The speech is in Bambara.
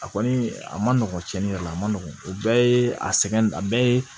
A kɔni a ma nɔgɔn cɛnni yɛrɛ la a ma nɔgɔn o bɛɛ ye a sɛgɛn a bɛɛ ye